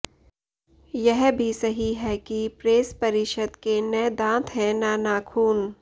यह भी सही है कि प्रेस परिषद के न दांत हैं न नाखून